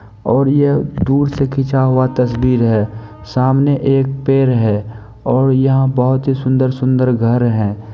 और ये दूर से खींचा हुआ तस्वीर है सामने एक पेड़ है और यहाँ बहुत ही सुंदर-सुंदर घर है।